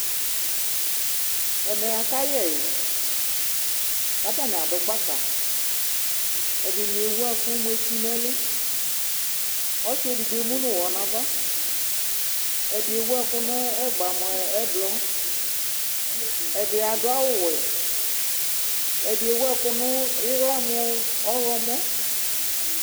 ɛmɛakawɛ katanɩadʊ gbaka ɛdɩnɩ éwʊɛkʊ nɛlʊ ɔsiédigbo émʊnʊwɔ nava ɛdi éwʊɛkʊ nɛgba ɛdi adʊawʊ wɛ ɛdɩ éwʊɛkʊ nʊ ɩla mʊ ɔlɔmɔ